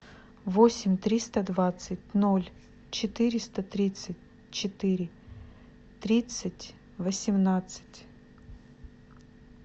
восемь триста двадцать ноль четыреста тридцать четыре тридцать восемнадцать